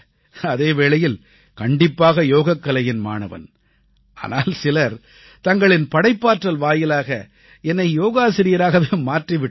அதே வேளையில் கண்டிப்பாக யோகக்கலையின் மாணவன் ஆனால் சிலர் தங்களின் படைப்பாற்றல் வாயிலாக என்னை யோகாசிரியராகவே மாற்றி விட்டார்கள்